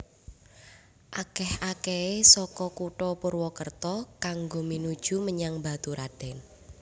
Akèh akèhé saka Kutha Purwokerto kanggo minuju menyang Baturadèn